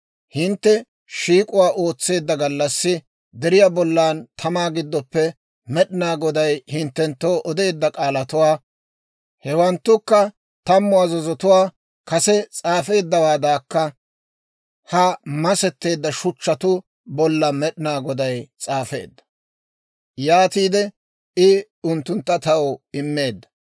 Hintte shiik'uwaa ootseedda gallassi, deriyaa bollan tamaa giddoppe Med'inaa Goday hinttenttoo odeedda k'aalatuwaa, hewanttukka Tammu Azazotuwaa, kase s'aafeeddawaadankka ha masetteedda shuchchatuu bolla Med'inaa Goday s'aafeedda; yaatiide I unttuntta taw immeedda.